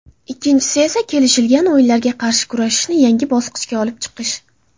Ikkinchisi, kelishilgan o‘yinlarga qarshi kurashishni yangi bosqichga olib chiqish.